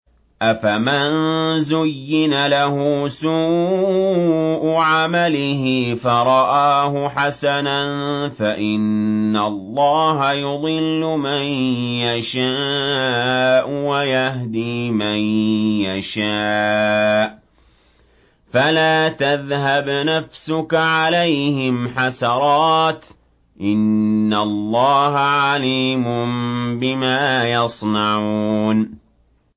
أَفَمَن زُيِّنَ لَهُ سُوءُ عَمَلِهِ فَرَآهُ حَسَنًا ۖ فَإِنَّ اللَّهَ يُضِلُّ مَن يَشَاءُ وَيَهْدِي مَن يَشَاءُ ۖ فَلَا تَذْهَبْ نَفْسُكَ عَلَيْهِمْ حَسَرَاتٍ ۚ إِنَّ اللَّهَ عَلِيمٌ بِمَا يَصْنَعُونَ